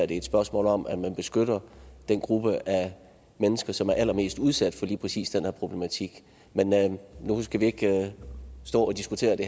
det er et spørgsmål om at man beskytter den gruppe af mennesker som er allermest udsat for lige præcis den her problematik men nu skal vi ikke stå og diskutere det